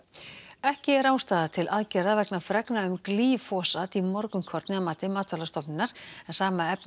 ekki er ástæða til aðgerða vegna fregna um glýfosat í morgunkorni að mati Matvælastofnunar en sama efni